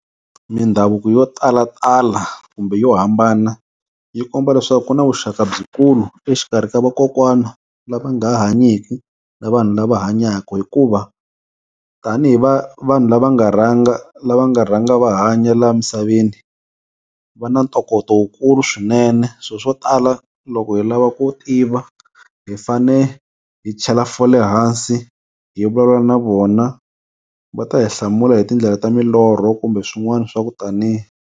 Mindhavuko yo talatala kumbe yo hambana yi komba leswaku ku na vuxaka byikulu exikarhi ka vakokwana lava nga ha hanyiku na vanhu lava hanyaka hikuva tanihi vanhu lava nga rhanga lava nga rhanga va hanya la misaveni va na ntokoto wukulu swinene so swo tala loko hi lava ku tiva hi fane hi chela fole hansi hi vulavula na vona va ta hi hlamula hi tindlela ta milorho kumbe swin'wania swa ku taniya.